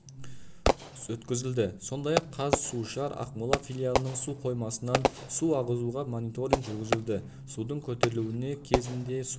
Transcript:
өткізілді сондай-ақ қазсушар ақмола филиалының су қоймасынан су ағызуға мониторинг жүргізілді судың көтерілуі кезінде су